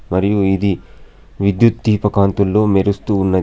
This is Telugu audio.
మరియు ఇది విద్యుత్ దీప కాంతుల్లో మెరుస్తూ ఉన్నది.